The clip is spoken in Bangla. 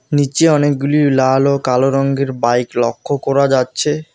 নীচে অনেকগুলি লাল ও কালো রঙ্গের বাইক লক্ষ্য করা যাচ্ছে।